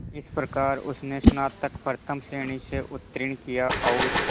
इस प्रकार उसने स्नातक प्रथम श्रेणी से उत्तीर्ण किया और